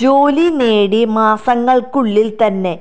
ജോലി നേടി മാസങ്ങൾക്കുള്ളിൽ തന്നെ